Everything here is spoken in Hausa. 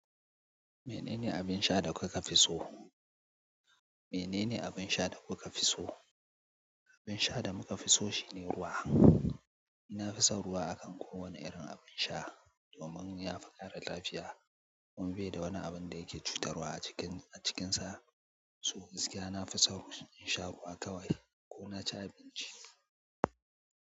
Menene abin sha da kuka fi so? Menene abin sha da kuka fi so? Abin sha da muka fi so shine ruwa. Ni na fi son ruwa a kan kowane irin abin sha domin ya fi kare lafiya kuma bai da wani abin da yake cutarwa a cikinsa. So gaskiya, na fi son in sha ruwa kawai ko na ci abinci.